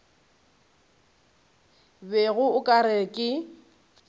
bego o ka re ke